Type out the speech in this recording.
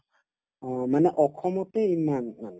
অ, মানে অসমতে ইমান মানে